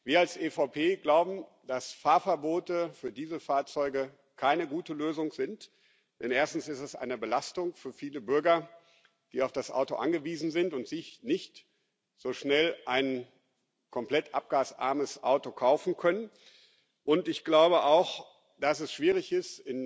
Wir als EVP glauben, dass Fahrverbote für Dieselfahrzeuge keine gute Lösung sind, denn erstens ist es eine Belastung für viele Bürger, die auf das Auto angewiesen sind und sich nicht so schnell ein komplett abgasarmes Auto kaufen können. Ich glaube auch, dass es schwierig ist.